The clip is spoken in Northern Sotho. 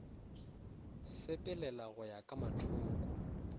sepelela go ya ka mathoko